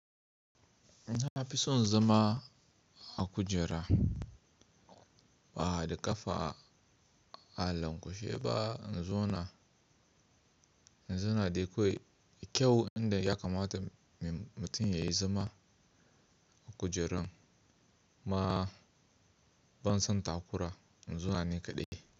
Na fi son zama a kujera ba da ƙafa a lankwashe ba. In zo na, in zo na dai kawai da kyau inda ya kamata mutum yayi zama a kujeran ma ban son takura in zo na nikaɗe.